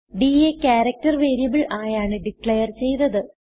ഡ് യെ character variable ആയാണ് declare ചെയ്തത്